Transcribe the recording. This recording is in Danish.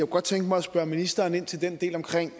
godt tænke mig at spørge ministeren ind til den del omkring